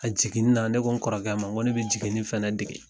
A jigin ni na ne ko n kɔrɔkɛ ma ko ne bɛ jigin ni fɛnɛ dege